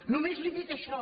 només li dic això